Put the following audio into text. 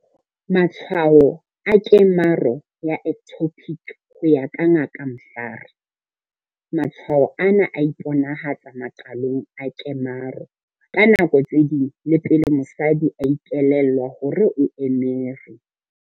Matshwao a kemaro ya ectopic. Ho ya ka Ngaka Mhlari, matshwao ana a iponahatsa maqalong a kemaro. Ka nako tse ding, le pele mosadi a ikelellwa hore o emere.